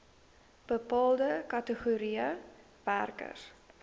bepaalde kategorieë werkers